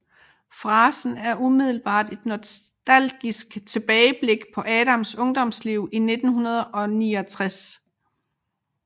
Frasen er umiddelbart et nostalgisk tilbageblik på Adams ungdomsliv i 1969